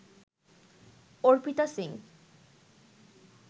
Arpita Singh